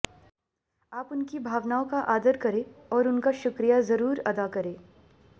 आप उनकी भावनाओं का आदर करें और उनका शुक्रिया जरूर अदा करें